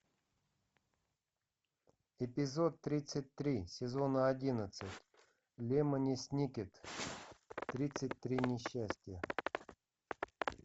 эпизод тридцать три сезона одиннадцать лемони сникет тридцать три несчастья